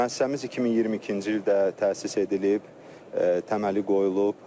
Müəssisəmiz 2022-ci ildə təsis edilib, təməli qoyulub.